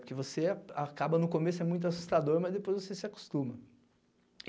Porque você acaba no começo, é muito assustador, mas depois você se acostuma.